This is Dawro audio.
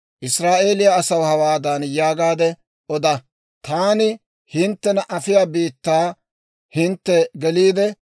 «Israa'eeliyaa asaw hawaadan yaagaade oda; ‹Taani hinttena afiyaa biittaa hintte geliide,